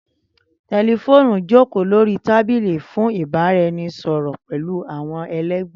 Tẹlifóònù jokoo lori tábìlì fun ibaraẹnisọrọ pẹlu awọn ẹlẹgbẹ.